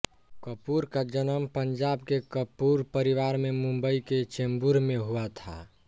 कपूर का जन्म पंजाब के कपूर परिवार में मुंबई के चेम्बूर में हुआ था